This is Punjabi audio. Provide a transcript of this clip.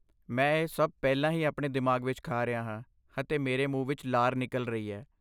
ਮੈਂ ਇਹ ਸਭ ਪਹਿਲਾਂ ਹੀ ਆਪਣੇ ਦਿਮਾਗ ਵਿੱਚ ਖਾ ਰਿਹਾ ਹਾਂ ਅਤੇ ਮੇਰੇ ਮੂੰਹ ਵਿੱਚ ਲਾਰ ਨਿਕਲ ਰਹੀ ਹੈ।